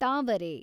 ತಾವರೆ